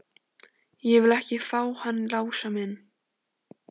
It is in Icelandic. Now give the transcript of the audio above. Ég vil ekki fá hann Lása inn.